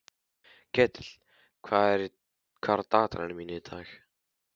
Ketill, hvað er á dagatalinu mínu í dag?